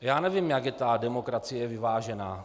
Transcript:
Já nevím, jak je ta demokracie vyvážená.